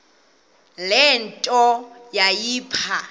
le nto yayipha